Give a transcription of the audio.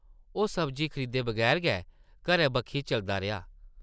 ओह् सब्जी खरीदे बगैर गै घरै बक्खी चलदा रेहा ।